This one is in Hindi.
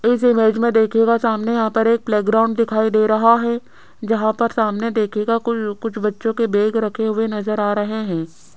इस इमेज में देखिएगा सामने यहां पर एक प्लेग्राउंड दिखाई दे रहा है जहां पर सामने देखिएगा कुल कुछ बच्चों के बैग रखे हुए नजर आ रहे हैं।